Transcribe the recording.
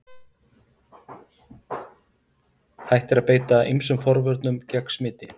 Hægt er að beita ýmsum forvörnum gegn smiti.